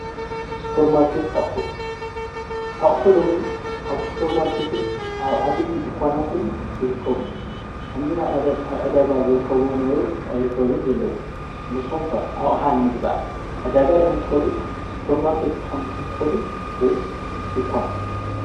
ስፓርማርኬት ኣቁሑ ኣቁሑ ሎሚ ኣብ ሱፐርማርኬትን ኣብ ዓበይቲ ድንኳናትን ይርከቡ። ከምዚ ከምዚ ናይ ቀደም ኣብ ዕዳጋ ዝርከብዎም ዝነበሩ ኣይርከቡን ዘለዉ ንስኩም ከ ኣቅሓ ንምግዛእ ዕዳጋ ዲኩም ትከዱ ስፓርማርኬት ዲኩም ትከዱ ወይስ ድንኳን?